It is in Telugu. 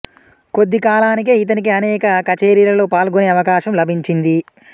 కొద్ది కాలానికే ఇతనికి అనేక కచేరీలలో పాల్గొనే అవకాశం లభించింది